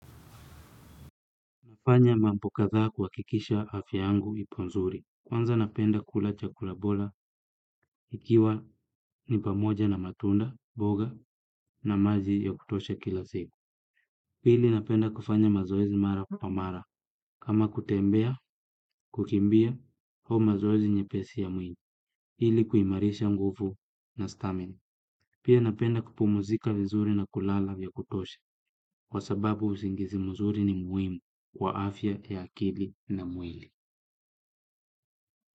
Nafanya mambo kathaa kuhakikisha afya yangu ipo nzuri. Kwanza napenda kula chakula bora ikiwa ni pamoja na matunda, mboga na maji ya kutosha kila siku. Pili napenda kufanya mazoezi mara kwa mara kama kutembea, kukimbia au mazoezi nyepesi ya mwili. Ili kuimarisha nguvu na stamina pia napenda kupumuzika vizuri na kulala ya kutosha. Kwa sababu usingizi mzuri ni muhimu kwa afya ya akili na mwili.